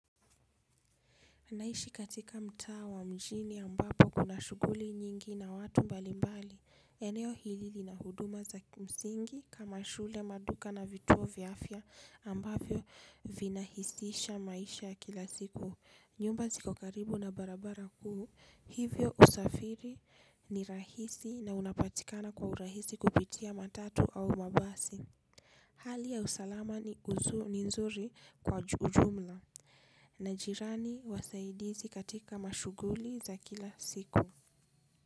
Naishi katika mtaa wa mjini ambapo kuna shughuli nyingi na watu mbalimbali, eneo hili lina huduma za msingi kama shule maduka na vituo vya afya ambavyo vinahisisha maisha kila siku. Nyumba ziko karibu na barabara kuu. Hivyo usafiri ni rahisi na unapatikana kwa urahisi kupitia matatu au mabasi. Hali ya usalama ni nzuri kwa ujumla. Na jirani wasaidizi katika mashughuli za kila siku.